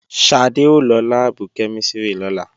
Ṣadé ó lọ láàbù kẹ́mísìrì lọ́la